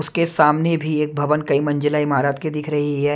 उसके सामने भी एक भवन कई मंजिला इमारत के दिख रही है।